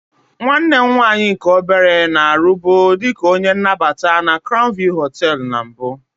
Nwanne m nwaanyị nke obere na-arụbu dị ka onye nnabata na crown view hoteelu na mbụ.